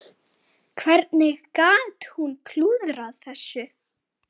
Hvernig gat hún klúðrað þessu?